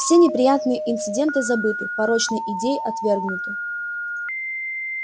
все неприятные инциденты забыты порочные идеи отвергнуты